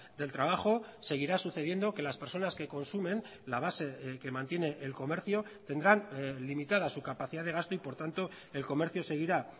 del trabajo seguirá sucediendo que las personas que consumen la base que mantiene el comercio tendrán limitada su capacidad de gasto y por tanto el comercio seguirá